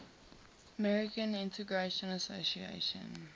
american integration association